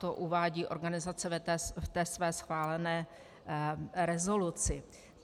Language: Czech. To uvádí organizace v té své schválené rezoluci.